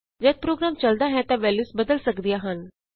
ਜਦ ਪ੍ਰੋਗਰਾਮ ਚਲਦਾ ਹੈ ਤਾਂ ਵੈਲਯੂਸ ਬਦਲ ਸਕਦੀਆਂ ਹਨ